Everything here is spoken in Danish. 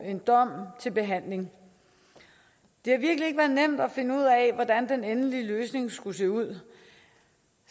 en dom til behandling det har virkelig ikke været nemt at finde ud af hvordan den endelige løsning skulle se ud